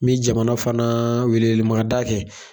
N mi jamana fana welemada kɛ.